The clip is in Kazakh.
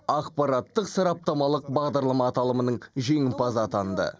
ақпараттық сараптамалық бағдарлама аталымының жеңімпазы атанды